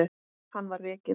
Hann var rekinn.